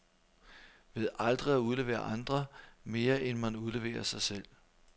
Ved aldrig at udlevere andre, mere end man udleverer sig selv.